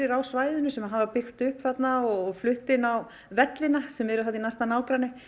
á svæðinu sem hafa byggt upp þarna og flutt inn á vellina sem eru þarna í næsta nágrenni